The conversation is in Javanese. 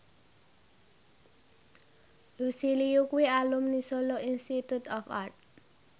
Lucy Liu kuwi alumni Solo Institute of Art